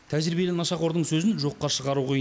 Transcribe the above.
тәжірибелі нашақордың сөзін жоққа шығару қиын